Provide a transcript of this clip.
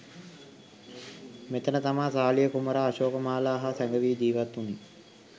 මෙතැන තමා සාලිය කුමරා අශෝකමාලා හා සැඟැවී ජීවත්වුණේ.